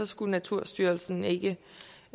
skulle naturstyrelsen ikke